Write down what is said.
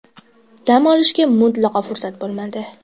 Dam olishga mutlaqo fursat bo‘lmadi.